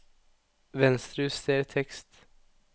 Venstrejuster tekst